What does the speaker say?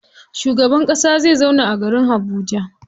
Shugaban ƙasa zai zauna a garin Habuja.